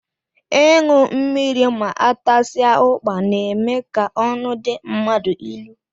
Ịṅụ mmiri ma atasia ukpa n'eme ka ọnụ dị mmadụ ịlụ